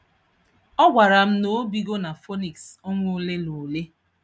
Ọ gwara m, na obigo na Phoenix ọnwa ole na ole.